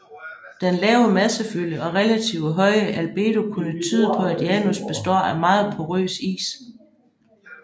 Den lave massefylde og relativt høje albedo kunne tyde på at Janus består af meget porøs is